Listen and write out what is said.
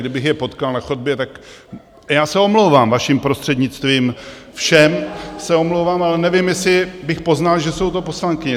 Kdybych je potkal na chodbě, tak - já se omlouvám, vaším prostřednictvím, všem se omlouvám - ale nevím, jestli bych poznal, že jsou to poslankyně.